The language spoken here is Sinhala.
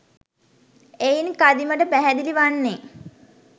එයින් කදිමට පැහැදිලි වන්නේ